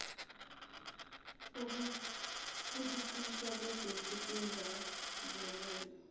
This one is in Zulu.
ukuqishiswa kwagesi kungazelelwe